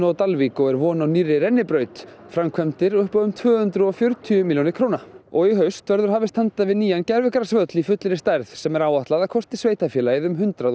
á Dalvík og er von á nýrri rennibraut það framkvæmdir upp á um tvö hundruð og fjörutíu milljónir króna og í haust verður hafist handa við nýjan gervigrasvöll í fullri stærð sem er áætlað að kosti sveitarfélagið um hundrað og